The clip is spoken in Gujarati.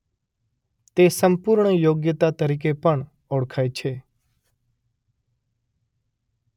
તે સંપૂર્ણ યોગ્યતા તરીકે પણ ઓળખાય છે